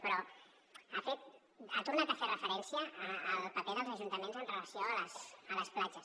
però ha tornat a fer referència al paper dels ajuntaments amb relació a les platges